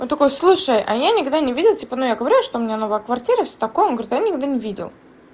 он такой слушай а я никогда не видел типа ну я говорила что у меня новая квартира всё такое он говорю я никогда не видел